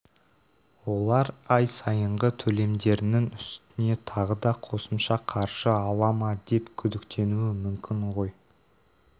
олар ай сайынғы төлемдерінің үстіне тағы да қосымша қаржы ала ма деп күдіктенуі мүмкін ғой